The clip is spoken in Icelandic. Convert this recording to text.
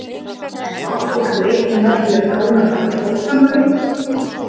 En má fólk reikna með því að krónan haldi áfram að veikjast?